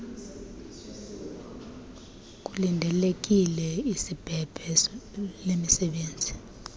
kulindelekile isbebe lemisebenzi